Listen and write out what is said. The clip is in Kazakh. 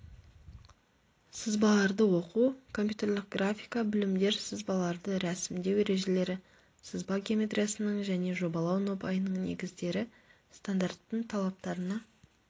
сызбаларды оқу компьютерлік графика білімдер сызбаларды рәсімдеу ережелері сызба геометриясының және жобалау нобайының негіздері стандарттардың талаптарына